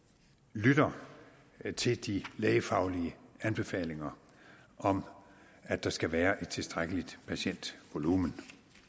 lytter til de lægefaglige anbefalinger om at der skal være et tilstrækkeligt patientvolumen